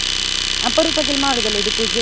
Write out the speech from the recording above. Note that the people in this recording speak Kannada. ಅಪರೂಪಕ್ಕೆ ಎಲ್ಲ ಮಾಡೋದಲ್ಲ ಇದು .